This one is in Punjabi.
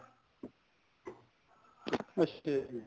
ਅੱਛਾ ਜੀ